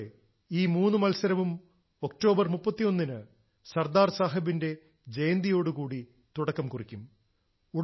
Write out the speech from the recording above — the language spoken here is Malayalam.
സുഹൃത്തുക്കളെ ഈ മൂന്നു മത്സരവും ഒക്ടോബറിന് 31 ന് സർദാർ സാഹബിന്റെ ജയന്തിയോടു കൂടി തുടക്കം കുറിക്കും